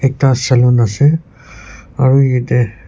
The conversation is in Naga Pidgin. ekta saloon ase aru yate--